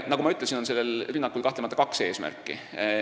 Nagu ma ütlesin, on sellel rünnakul kahtlemata kaks eesmärki.